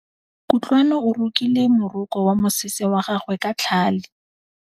Kutlwanô o rokile morokô wa mosese wa gagwe ka tlhale.